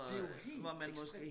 Det jo helt ekstremt